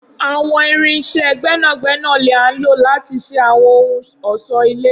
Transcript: Awọn irin iṣẹ gbẹnagbẹna ni a lo lati ṣe awọn ohun ọṣọ-ile.